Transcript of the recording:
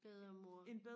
bedre mor